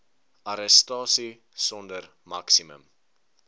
arrestasie sonder maksimum